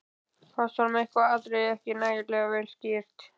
Fannst honum eitthvað atriði ekki nægilega vel skýrt.